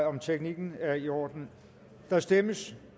om teknikken er i orden der stemmes